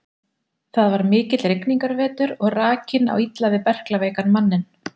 Þetta er mikill rigningarvetur og rakinn á illa við berklaveikan manninn.